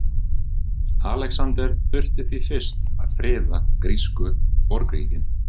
Alexander þurfti því fyrst að friða grísku borgríkin.